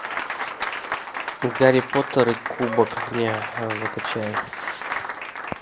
гарри поттер и кубок огня закачай